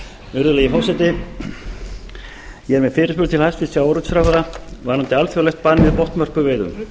virðulegi forseti ég er með fyrirspurn til hæstvirts sjávarútvegsráðherra varðandi alþjóðlegt bann við botnvörpuveiðum